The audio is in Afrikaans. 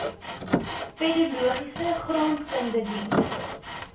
pedologie grondkunde diens